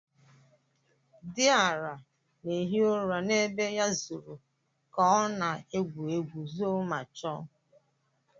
Diara na-ehi ụra n'ebe ya zoro kao na-egwu egwu zoo ma chọọ